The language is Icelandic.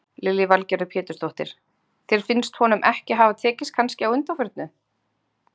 Lillý Valgerður Pétursdóttir: Þér finnst honum ekki hafa tekist kannski á undanförnu?